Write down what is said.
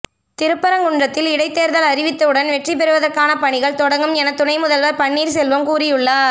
திருப்பரங்குன்றத்தில் இடைத்தேர்தல் அறிவித்தவுடன் வெற்றி பெறுவதற்கான பணிகள் தொடங்கும் என துணை முதல்வர் பன்னீர் செல்வம் கூறியுள்ளார்